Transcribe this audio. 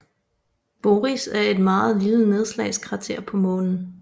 Boris er et meget lille nedslagskrater på Månen